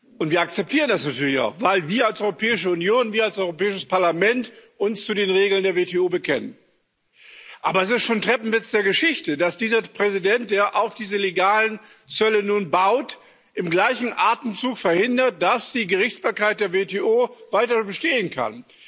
Und wir akzeptieren das natürlich auch, weil wir als Europäische Union, wir als Europäisches Parlament uns zu den Regeln der WTO bekennen. Aber es ist schon ein Treppenwitz der Geschichte, dass dieser Präsident, der nun auf diese legalen Zölle baut, im gleichen Atemzug verhindert, dass die Gerichtsbarkeit der WTO weiter bestehen kann.